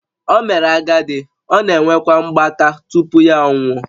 O mere agadi, ọ na-enwekwa mgbaka tupu ya anwụọ